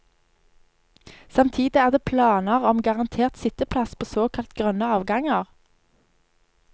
Samtidig er det planer om garantert sitteplass på såkalt grønne avganger.